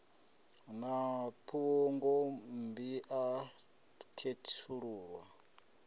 a na phungommbi a khethululwa